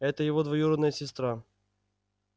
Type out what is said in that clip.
это его двоюродная сестра